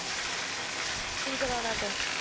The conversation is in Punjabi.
ਕੀ ਕਰਾਉਣਾ ਤੈ